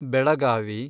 Belagavi